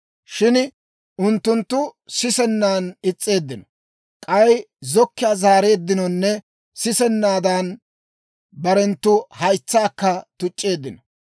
Shin unttunttu sisennan is's'eeddino; k'ay zokkiyaa zaareeddinonne sisennaadan, barenttu haytsaakka tuc'c'eeddino.